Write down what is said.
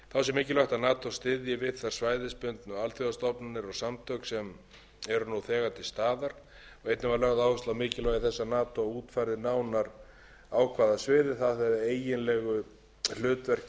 styðji við þær svæðisbundnu alþjóðastofnanir og samtök sem eru nú þegar til staðar einnig var lögð áhersla á mikilvægi þess að nato útfærði nánar á hvaða sviði það hefði eiginlegu hlutverki að